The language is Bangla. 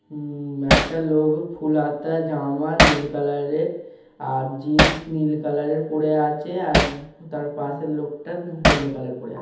উম একটা লোক ফুল হাতা জামা নীল কালার -এর আর জিন্স নীল কালার -এর পরে আছে আর হু তার পাশের লোকটা হলদে কালার পরে আছ--